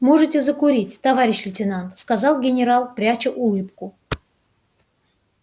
можете закурить товарищ лейтенант сказал генерал пряча улыбку